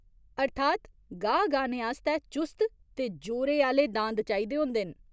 अर्थात् गाह् गाह्‌ने आस्तै चुस्त ते जोरे आह्‌ले दांद चाहिदे होंदे न।